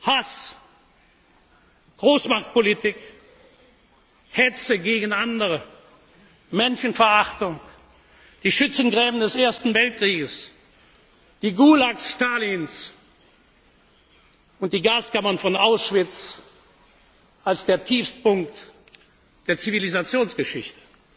aus? Hass, Großmachtpolitik, Hetze gegen andere, Menschenverachtung, die Schützengräben des Ersten Weltkriegs, die Gulags Stalins und die Gaskammern von Auschwitz als der Tiefstpunkt der Zivilisationsgeschichte.